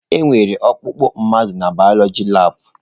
Enwere ọkpụkpụ mmadụ n'bioloji labụ.